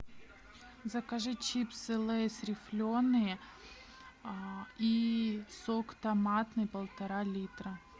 закажи чипсы лейс рифленые и сок томатный полтора литра